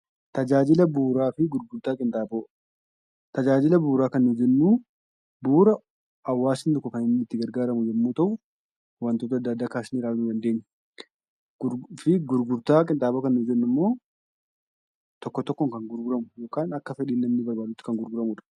Tajaajila bu'uuraa fi gurgurtaa qinxaaboo: Tajaajila bu'uuraa kan nuti jennu bu'uura hawwaasni tokko kan itti gargaaramu yoo ta’u, wantoota adda addaa kaasnee ilaaluu ni dandeenya. Gurgurtaa qinxaaboo kan nuti jennu immoo tokko tokkoon kan gurguramu yookaan immoo akka fedhii namni barbaadutti kan gurguramu jechuudha.